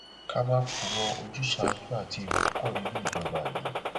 ká má purọ ojúsàájú àti ẹrù pọ nínú ìjọba yìí